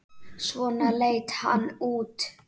Svona leit hann þá út.